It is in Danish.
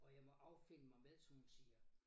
Og jeg må affinde mig med som hun siger